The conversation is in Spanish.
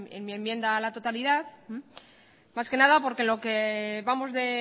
en mi enmienda a la totalidad más que nada porque lo que vamos de